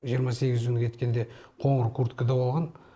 жиырма сегізі күні кеткенде қоңыр курткада болған